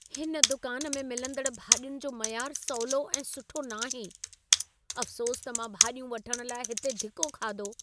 हिन दुकान में मिलंदड़ भाॼियुनि जो मयार सवलो ऐं सुठो न आहे। अफ़्सोस त मां भाॼियूं वठण लाइ हिते धिको खाधो।